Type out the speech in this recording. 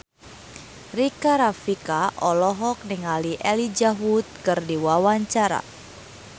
Rika Rafika olohok ningali Elijah Wood keur diwawancara